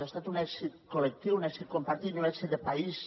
ha estat un èxit col·lectiu un èxit compartit i un èxit de país